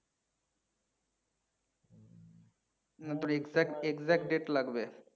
না তোর exact exact date লাগবে।